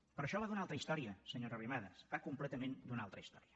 però això va d’una altra història senyora arrimadas va completament d’una altra història